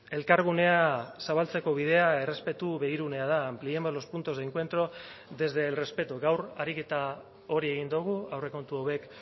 elkargunea zabaltzeko bidea errespetu begirunea da ampliemos los puntos de encuentro desde el respeto gaur ariketa hori egin dugu aurrekontu hauek